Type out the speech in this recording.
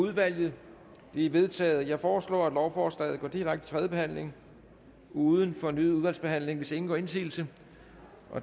udvalget de er vedtaget jeg foreslår at lovforslaget går direkte til tredje behandling uden fornyet udvalgsbehandling hvis ingen gør indsigelse